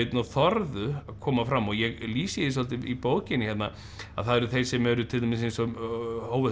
að þorðu að koma fram ég lýsi því svolítið í bókinni að það eru þeir sem til dæmis eins og hófu þessa